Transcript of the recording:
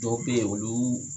Dɔw bɛ yen olu